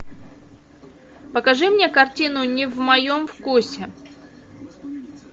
покажи мне картину не в моем вкусе